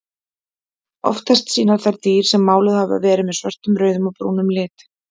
Oftast sýna þær dýr sem máluð hafa verið með svörtum, rauðum og brúnum lit.